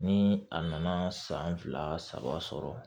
Ni a nana san fila saba sɔrɔ